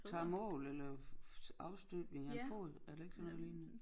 Tager mål eller afstøbninger af foden er det ikke sådan noget lignende